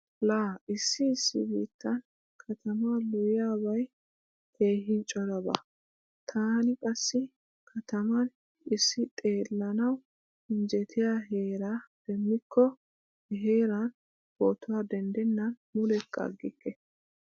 Laa issi issi biittan katamaa loyyiyabay keehi coraba. Taani qassi kataman issi xellanawu injjetiya heeraa demmikko he heeran ppotuwa denddennan mulekka aggikke.